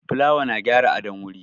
Fulawa na gyara adon wuri